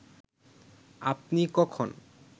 আপনি কখন